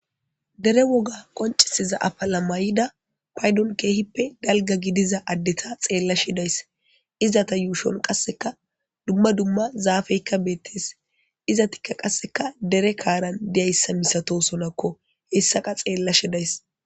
Dere woga qonicises afila maida payidon kehipe daliga gidida adeta xelashe de'ayis izata yushon qasika duma duma zapetika betes izat qase dere karan dizayisa malatosonako hesaka xelashe de'ayis